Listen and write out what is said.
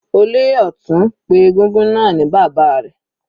Olóyè Ọtun pé egúngún náà ni bàbá rẹ̀.